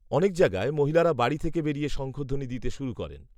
অনেক জায়গায় মহিলারা বাড়ি থেকে বেরিয়ে শঙ্খধ্বনি দিতে শুরু করেন